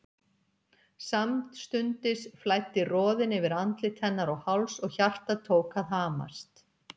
Samstundis flæddi roðinn yfir andlit hennar og háls og hjartað tók að hamast.